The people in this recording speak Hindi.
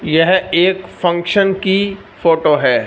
यह एक फंक्शन की फोटो है।